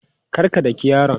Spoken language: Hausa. Kar ka daki yaron!